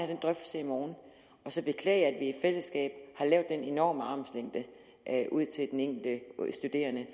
den drøftelse i morgen og så beklage at vi i fællesskab har lavet den enorme armslængde ud til den enkelte studerende